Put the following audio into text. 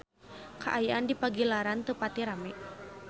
Kaayaan di Pagilaran teu pati rame